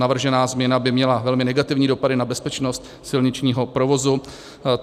Navržená změna by měla velmi negativní dopady na bezpečnost silničního provozu.